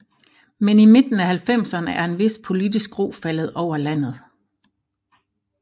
Men i midten af halvfemserne er en vis politisk ro faldet over landet